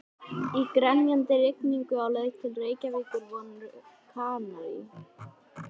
Í grenjandi rigningunni á leið til Reykjavíkur voru Kanarí